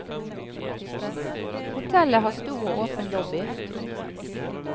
Hotellet har stor og åpen lobby.